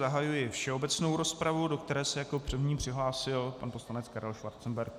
Zahajuji všeobecnou rozpravu, do které se jako první přihlásil pan poslanec Karel Schwarzenberg.